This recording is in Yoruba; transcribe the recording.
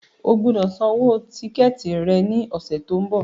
O gbọ́dọ̀ san owó tíkẹ̀tì rẹ ní ọ̀sẹ̀ tí ń bọ̀.